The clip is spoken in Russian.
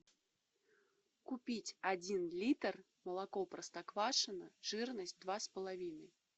купить один литр молоко простоквашино жирность два с половиной